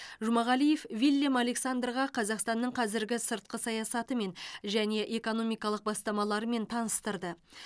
жұмағалиев виллем александрға қазақстанның қазіргі сыртқы саясатымен және экономикалық бастамаларымен таныстырды